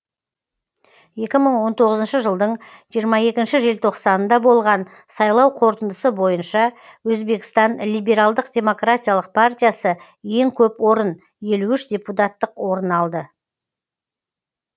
екі мың он тоғызыншы жылдың жиырма екінші желтоқсанында болған сайлау қорытындысы бойынша өзбекстан либералдық демократиялық партиясы ең көп орын елу үш депутаттық орын алды